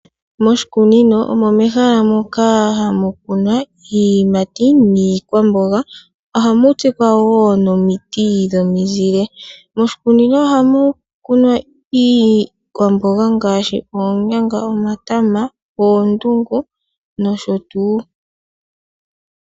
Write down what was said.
Moshikunino ehala moka hamu kunwa iiyimati niikwamboga ohamu tsikwa nomiti dhominzile. Ohamu kunwa wo iikwamboga ngaashi oonyanga, omatama, oondungu nosho tuu.